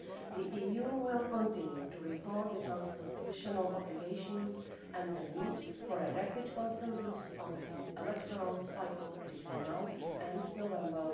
The EU will continue to recall the constitutional obligations and the need for a rapid consensus on the electoral cycle between now and November